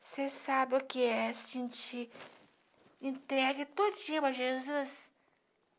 Você sabe o que é sentir entregue todinha para Jesus.